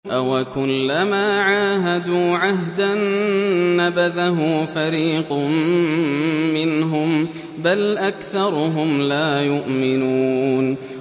أَوَكُلَّمَا عَاهَدُوا عَهْدًا نَّبَذَهُ فَرِيقٌ مِّنْهُم ۚ بَلْ أَكْثَرُهُمْ لَا يُؤْمِنُونَ